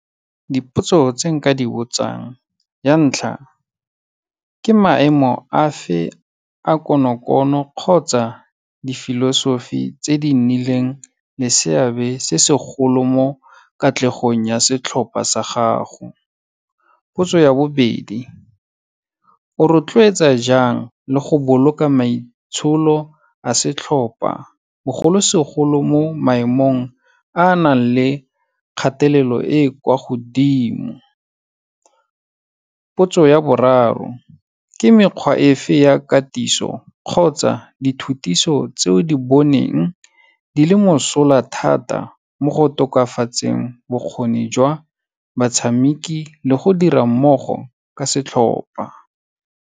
Dipotso tse nka di botsang, ya ntlha, ke maemo a fe a konokono kgotsa di-philosophy tse di nnileng le seabe se segolo mo katlegong ya setlhopa sa gago. Potso ya bobedi, o rotloetsa jang le go boloka maitsholo a setlhopa, bogolosegolo mo maemong a a nang le kgatelelo e kwa godimo. Potso ya boraro, ke mekgwa e fa ya katiso kgotsa dithutiso tseo di boneng, di le mosola thata mo go tokafatseng bokgoni jwa batshamiki le go dira mmogo ka setlhopa.